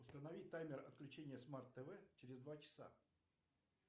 установи таймер отключения смарт тв через два часа